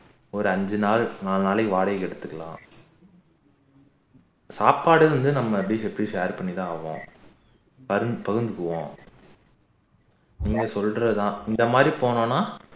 ஒரு அஞ்சு நாள் ஆறு நாளைக்கு வாடகைக்கு எடுத்துக்கலாம் சாப்பாடு வந்து நம்ம எப்படியும் எப்படியும் share பண்ணித்தான் ஆகுவோம் பகிர்ந்து உண்போம் நீங்க சொல்றதுதான் இந்தமாதிரி போனோம்னா